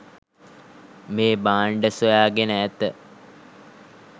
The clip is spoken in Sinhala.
මේ භාණ්ඩ සොයාගෙන ඇත